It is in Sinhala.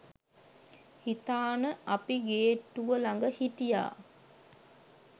හිතාන අපි ගේට්ටුව ළඟ හිටියා.